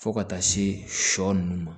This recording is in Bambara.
Fo ka taa se sɔ nunnu ma